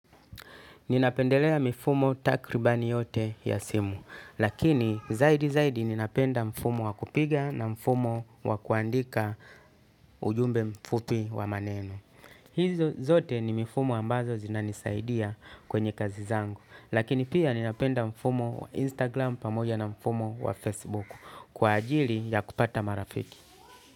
Ninapendelea mifumo takribani yote ya simu, lakini zaidi zaidi ninapenda mfumo wa kupiga na mfumo wa kuandika ujumbe mfupi wa maneno. Hizo zote ni mifumo ambazo zinanisaidia kwenye kazi zangu, lakini pia ninapenda mfumo wa Instagram pamoja na mfumo wa Facebook kwa ajili ya kupata marafiki.